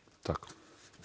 takk